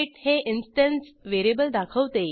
हे instance variable दाखवते